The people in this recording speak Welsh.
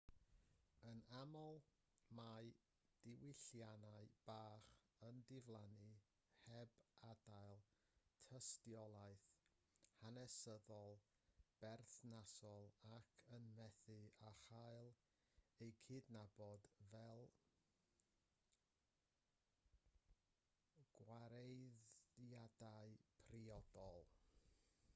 yn aml mae diwylliannau bach yn diflannu heb adael tystiolaeth hanesyddol berthnasol ac yn methu â chael eu cydnabod fel gwareiddiadau priodol